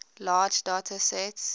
large data sets